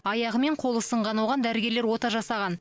аяғы мен қолы сынған оған дәрігерлер ота жасаған